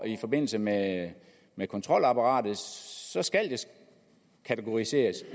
i forbindelse med med kontrolapparatet så skal det kategoriseres